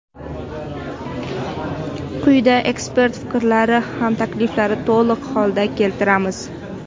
Quyida ekspert fikrlari va takliflarini to‘liq holda keltiramiz.